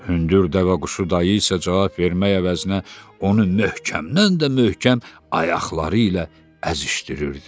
Hündür dəvəquşu dayı isə cavab vermək əvəzinə onu möhkəmdən də möhkəm ayaqları ilə əzişdirirdi.